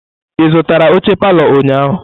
Ị zụtara oche palọ ụnyahụ?